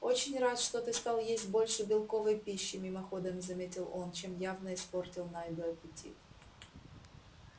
очень рад что ты стал есть больше белковой пищи мимоходом заметил он чем явно испортил найду аппетит